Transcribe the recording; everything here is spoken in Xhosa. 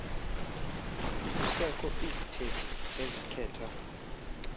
kusekho izithethi ezikhetha